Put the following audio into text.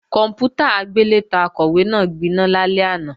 Kòǹpútà agbélétan Akọ̀wé náà gbiná lálẹ́ àná